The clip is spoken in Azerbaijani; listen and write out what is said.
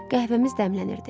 Qəhvəmiz dəmlənirdi.